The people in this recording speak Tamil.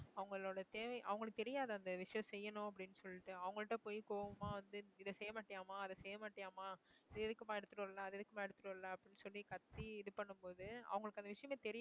அவங்களோட தேவை அவங்களுக்கு தெரியாத அந்த விஷயம் செய்யணும் அப்படின்னு சொல்லிட்டு அவங்கள்ட்ட போய் கோவமா வந்து இதை செய்ய மாட்டியாம்மா அதை செய்ய மாட்டியாம்மா இத எதுக்கும்மா எடுத்திட்டு வர்ல அதை எதுக்கும்மா எடுத்துட்டு வரல அப்பிடின்னு சொல்லி கத்தி இது பண்ணும் போது அவங்களுக்கு அந்த விஷயமே தெரியாது